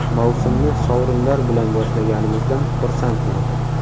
Mavsumni sovrinlar bilan boshlaganimizdan xursandman.